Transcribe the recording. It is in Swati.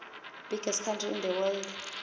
biggest country in the world